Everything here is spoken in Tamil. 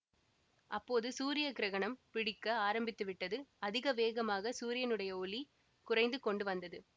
அப்போது சூரிய கிரகணம் பிடிக்க ஆரம்பித்து விட்டது அதிக வேகமாக சூரியனுடைய ஒளி குறைந்து கொண்டு வந்தது